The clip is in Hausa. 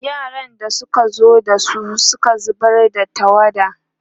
yaran da Suka zo ɗazun Suka zubar da tawada